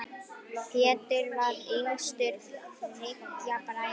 Pétur var yngstur þriggja bræðra.